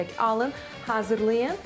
Siz də mütləq alın, hazırlayın.